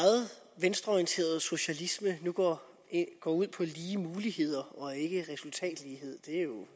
venstreorienteret socialisme nu går går ud på lige muligheder og ikke resultatlighed det er jo